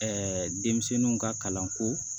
denmisɛnninw ka kalanko